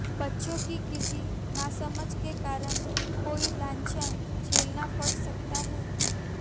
बच्चों की किसी नासमझ के कारण कोई लांछन झेलना पड़ सकता है